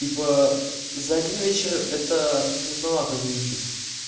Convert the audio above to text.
типа за один вечер это трудновато выучить